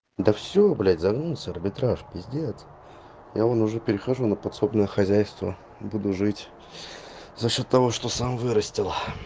да всё блядь загнулся арбитраж пиздец я вон уже перехожу на подсобное хозяйство буду жить за счёт того что сам вырастил